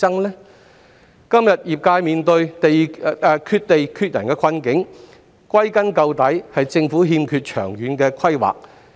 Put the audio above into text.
業界今天面對缺地缺人的困境，歸根結底是因為政府欠缺長遠規劃。